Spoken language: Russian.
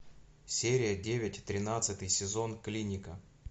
серия девять тринадцатый сезон клиника